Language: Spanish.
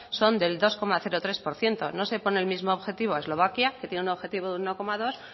son del dos coma tres por ciento no se pone el mismo objetivo eslovaquia que tiene un objetivo de uno coma dos